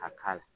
A k'a la